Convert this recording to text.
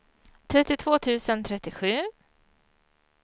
trettiotvå tusen trettiosju